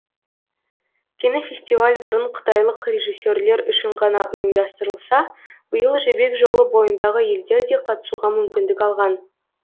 кинофестиваль бұрын қытайлық режиссерлер үшін ғана ұйымдастырылса биыл жібек жолы бойындағы елдер де қатысуға мүмкіндік алған